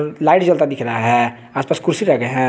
Light जलता दिख रहा हैं आस पास कुर्सी लगे हैं।